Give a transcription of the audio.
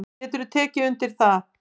Geturðu tekið undir það?